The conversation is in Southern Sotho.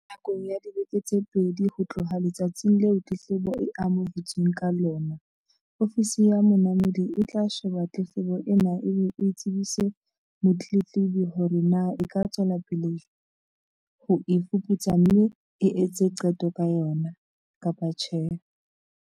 Nakong ya dibeke tse pedi ho tloha letsatsing leo tletlebo e amohetsweng ka lona, Ofisi ya Monamodi e tla sheba tletlebo ena e be e tsebise motletlebi hore na e ka tswela pele ho e fuputsa mme e etse qeto ka yona, kapa tjhe.